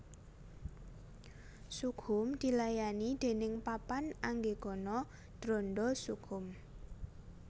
Sukhum dilayani déning Papan Anggegana Dranda Sukhum